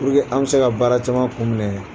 an mi se ka baara caman kun minɛ.